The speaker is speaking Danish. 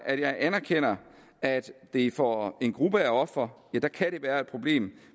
at jeg anerkender at det for en gruppe af ofre kan være et problem